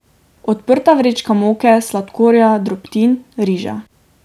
Odprta vrečka moke, sladkorja, drobtin, riža.